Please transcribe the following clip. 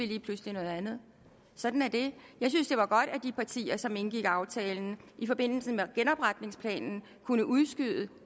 lige pludselig noget andet sådan er det jeg synes det var godt at de partier som indgik aftalen i forbindelse med genopretningsplanen kunne udskyde